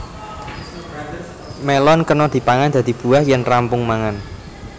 Mélon kena dipangan dadi buah yén rampung mangan